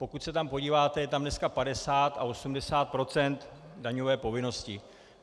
Pokud se tam podíváte, je tam dneska 50 a 80 % daňové povinnosti.